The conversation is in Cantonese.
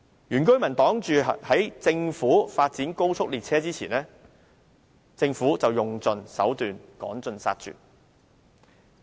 原居民擋在政府發展的高速列車之前，政府卻用盡手段，趕盡殺絕。